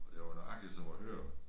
Og det var nøjagtigt som at høre